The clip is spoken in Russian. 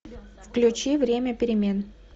включи время перемен